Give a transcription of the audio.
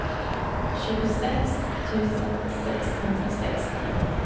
tjugosex tusen sexhundrasextio